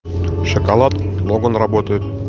шоколад оба наработают